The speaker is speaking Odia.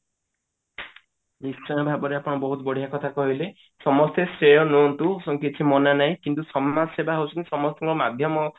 ନିଶ୍ଚୟ ଭାବରେ ଆପଣ ବହୁତ ବଢିଆ କଥା କହିଲେ ସମସ୍ତେ ରୁହନ୍ତୁ କିଛି ମନା ନାହିଁ କିନ୍ତୁ ସମାଜ ସେବା ହଉଛି ସମସ୍ତିଙ୍କ ମାଧ୍ୟମ